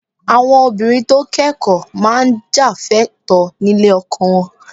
Àwọn obìnrin tó kẹ́kọ̀ọ́ máa jà fẹ́tọ̀ọ́ nílé ọkọ wọn